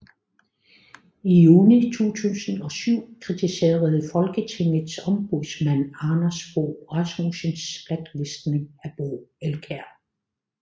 I juni 2007 kritiserede Folketingets ombudsmand Anders Fogh Rasmussens blacklistning af Bo Elkjær